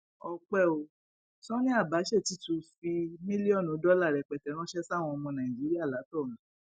ọpẹ ò sanni abache ti tún fi mílíọnù dọlà rẹpẹtẹ ránṣẹ sáwọn ọmọ nàìjíríà látọrun